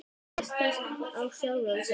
Að treysta á sjálfan sig.